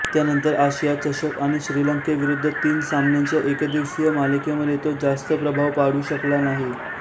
त्यानंतर आशिया चषक आणि श्रीलंकेविरुद्ध तीन सामनांच्या एकदिवसीय मालिकेमध्ये तो जास्त प्रभाव पाडू शकला नाही